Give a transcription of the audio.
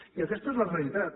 i aquesta és la realitat